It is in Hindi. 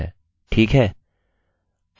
ठीक है